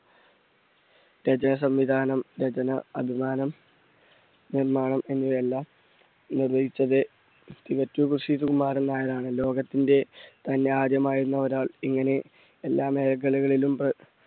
സംവിധാനം, രചന നിർമ്മാണം എന്നിവ എല്ലാം നിർവഹിച്ചത് ഋഷി കുമാരൻ നായരാണ്. ലോകത്തിന്റെ തന്നെ ആദ്യമായിരുന്നു ഒരാൾ ഇങ്ങനെ എല്ലാ മേഖലകളിലും,